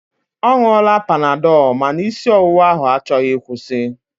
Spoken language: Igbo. Ọ ṅụọla panadọl ma na isi ọwụwa ahụ achọghị ịkwụsi.